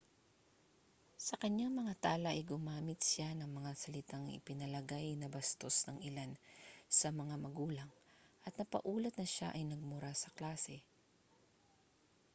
sa kaniyang mga tala ay gumamit siya ng mga salitang ipinalagay na bastos ng ilan sa mga magulang at napaulat na siya ay nagmura sa klase